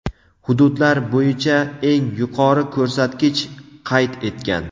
hududlar bo‘yicha eng yuqori ko‘rsatkich qayd etgan.